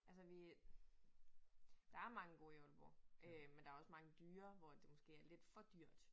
Altså vi der er mange gode i Aalborg øh men der også mange dyre hvor at det måske er lidt for dyrt